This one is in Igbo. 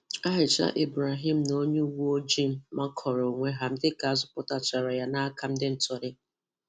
Aisha Ibrahim na onye uweojii makọrọ onwe ha dịka azọpụtachara ya n'aka ndị ntọrị